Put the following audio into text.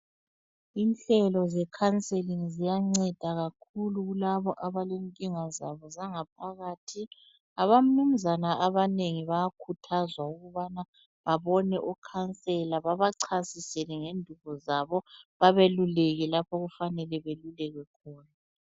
Inhlelo zekhanselingi ziyanceda kakhulu kulabo abalenkinga zabo zangaphakathi. Abanumzana abanengi bayakhuthazwa ukubana babone ukhansela babachasisele ngendubo zabo, babeluleke lapho okufanele beluleke khona.